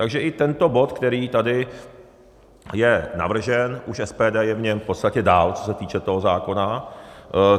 Takže i tento bod, který tady je navržen, už SPD je v něm v podstatě dál, co se týče toho zákona.